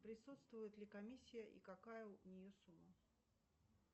присутствует ли комиссия и какая у нее сумма